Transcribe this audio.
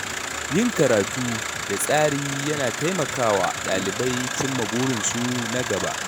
Yin karatu da tsari yana taimaka wa ɗalibai cimma burinsu na gaba.